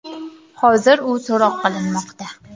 Hozir u so‘roq qilinmoqda.